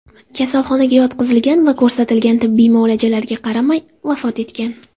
kasalxonaga yotqizilgan va ko‘rsatilgan tibbiy muolajalarga qaramay vafot etgan.